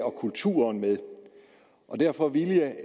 og kulturen med derfor vil jeg